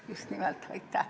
Just nimelt!